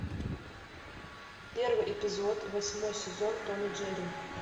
первый эпизод восьмой сезон том и джерри